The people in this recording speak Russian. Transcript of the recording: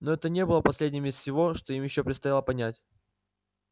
но это не было последним из всего что им ещё предстояло понять